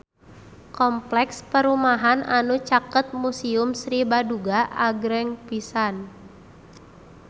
Kompleks perumahan anu caket Museum Sri Baduga agreng pisan